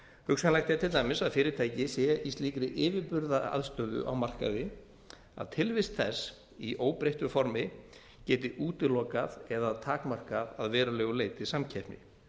hugsanlegt er til dæmis að fyrirtæki sé í slíkri yfirburðastöðu á markaði að tilvist þess í óbreyttu formi geti útilokað eða takmarkað að verulegu leyti samkeppni